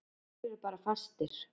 Þeir eru bara fastir.